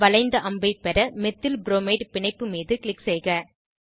வளைந்த அம்பை பெற மெத்தில்ப்ரோமைட் பிணைப்பு மீது க்ளிக் செய்க